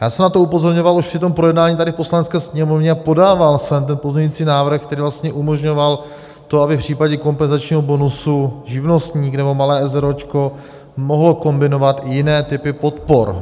Já jsem na to upozorňoval už při tom projednání tady v Poslanecké sněmovně, podával jsem ten pozměňující návrh, který vlastně umožňoval to, aby v případě kompenzačního bonusu živnostník nebo malé eseróčko mohli kombinovat i jiné typy podpor.